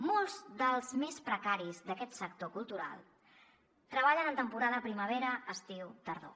molts dels més precaris d’aquest sector cultural treballen en temporada de primavera estiu tardor